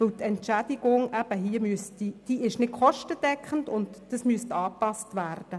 Die Entschädigung ist nicht kostendeckend und müsste angepasst werden.